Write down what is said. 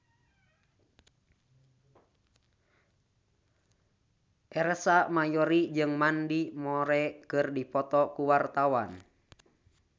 Ersa Mayori jeung Mandy Moore keur dipoto ku wartawan